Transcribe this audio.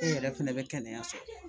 Ne yɛrɛ fɛnɛ bɛ kɛnɛya so